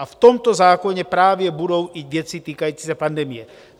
A v tomto zákoně právě budou i věci týkající se pandemie.